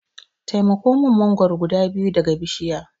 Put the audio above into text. Taimako min mangoro guda biyu daga bishiya.